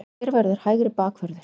HVER VERÐUR HÆGRI BAKVÖRÐUR?